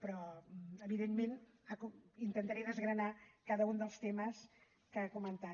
però evidentment intentaré desgranar cada un dels temes que ha comentat